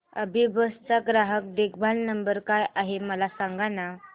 अभिबस चा ग्राहक देखभाल नंबर काय आहे मला सांगाना